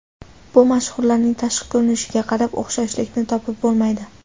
Bu mashhurlarning tashqi ko‘rinishiga qarab o‘xshashlikni topib bo‘lmaydi.